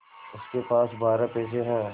उसके पास बारह पैसे हैं